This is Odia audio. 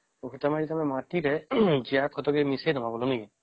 ଓହୋ ମାନେ ମାଟିରେ ଜିଆ ଖତ ବି ମିସେଇଲେ ବି ହବ ନାଇଁ କି